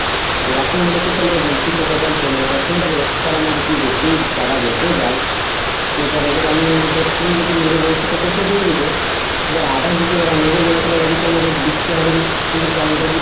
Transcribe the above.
তো এখন বলছি তোকে বল তোর মানে এখন ধর extra আমার যদি বেশি চারা বেচেঁ যাই তো ধর এবার আমিএবার তুই যদি নিবি বলিস তো তোকে দিয়ে দিবো এবার others যদি ওরা নেবো বলে তালে ওদেরকে আমার বিচতে হবে